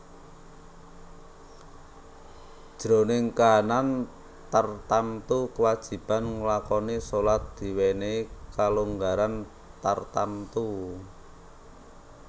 Jroning kahanan tartamtu kawajiban nglakoni shalat diwènèhi kalonggaran tartamtu